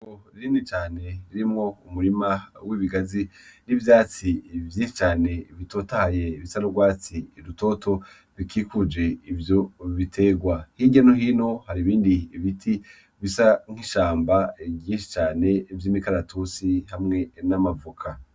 Itongo rinini cane ririmwo umurima w'ibigazi n'ivyatsi vyinshi cane bitotahaye bisa n'urwatsi rutoto bikikuje ivyo biterwa hirya nohino har'ibindi ibiti bisa nk'ishamba ryinshi cane vy' imikaratusi hamwe n'amavoka.